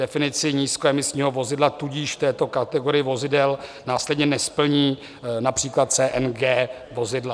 Definice nízkoemisního vozidla tudíž v této kategorii vozidel následně nesplní například CNG vozidla.